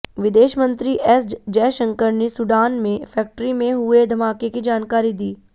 विदेश मंत्री एस जयशंकर ने सूडान में फैक्ट्री में हुए धमाके की जानकारी दी